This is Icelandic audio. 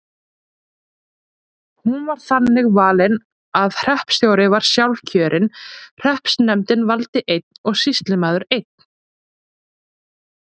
Hún var þannig valin að hreppstjóri var sjálfkjörinn, hreppsnefndin valdi einn og sýslumaður einn.